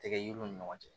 Tɛgɛ yiriw ni ɲɔgɔn cɛ